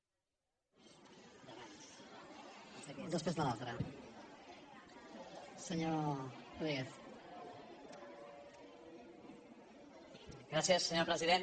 gràcies senyor president